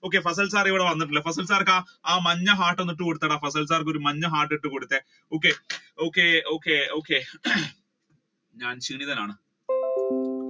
okay fasal sir ഇവിടെ വന്നിട്ടില്ല fasal sir ക്ക് ആ മഞ്ഞ heart ഒന്ന് ഇട്ടുകൊടുത്തെടാ ആ മഞ്ഞ heart ഇട്ടുകൊടുത്തെ okay okay okay okay അഹ്